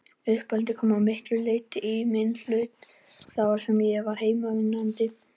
Uppeldið kom að miklu leyti í minn hlut, þar sem ég var heimavinnandi, en